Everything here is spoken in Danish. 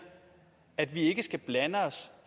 at vi ikke skal blande os